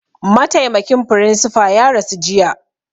Mataimakin firinsifa ya rasu jiya